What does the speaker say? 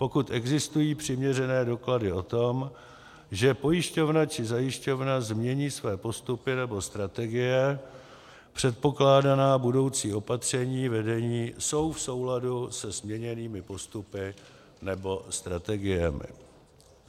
pokud existují přiměřené doklady o tom, že pojišťovna či zajišťovna změní své postupy nebo strategie, předpokládaná budoucí opatření vedení jsou v souladu se změněnými postupy nebo strategiemi;